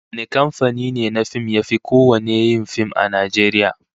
Wane kamfani ne na fim yafi kowanne yin fim a Najeriya?